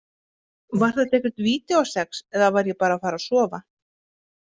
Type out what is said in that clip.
Var þetta eitthvert vídeósex eða var ég bara að fara að sofa?